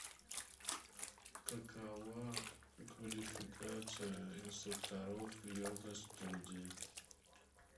какова квалификация инструкторов йога студии